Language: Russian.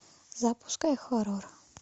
запускай хоррор